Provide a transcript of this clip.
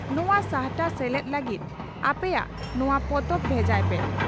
ᱱᱚᱣᱟ ᱥᱟᱦᱴᱟᱨᱮ ᱥᱮᱞᱮᱫ ᱞᱟᱹᱜᱤᱫ ᱟᱯᱮᱭᱟᱜ ᱱᱚᱣᱟ ᱯᱚᱛᱚᱵ ᱵᱷᱮᱡᱟᱭ ᱯᱮ ᱾